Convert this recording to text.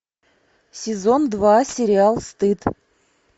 сезон два сериал стыд